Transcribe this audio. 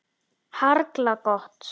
Harla gott.